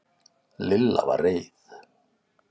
Lilla var reið.